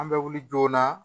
An bɛ wuli joona